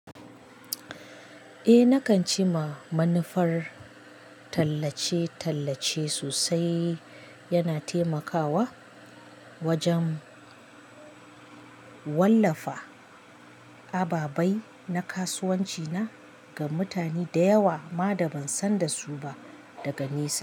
Eh nakan ci ma manufar tallace-tallace sosai, yana taimakawa wajen wallafa ababai na kasuwanci na ga mutane da yawa ma da ban san da su ba daga nesa.